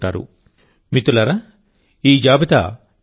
మిత్రులారాఈ జాబితా చాలా పొడవుగా ఉంది